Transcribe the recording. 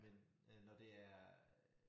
Men øh når det er øh